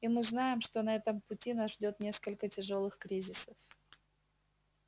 и мы знаем что на этом пути нас ждёт несколько тяжёлых кризисов